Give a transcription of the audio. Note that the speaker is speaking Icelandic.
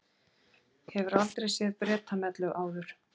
Hefurðu aldrei séð Bretamellu áður?